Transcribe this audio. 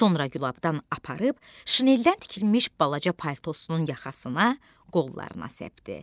Sonra gülabdan aparıb şineldən tikilmiş balaca paltosunun yaxasına, qollarına səpdi.